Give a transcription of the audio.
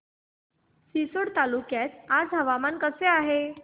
रिसोड तालुक्यात आज हवामान कसे आहे